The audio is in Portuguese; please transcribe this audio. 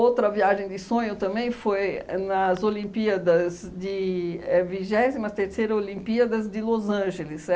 viagem de sonho também foi nas Olimpíadas de é vigésima terceira Olimpíadas de Los Angeles.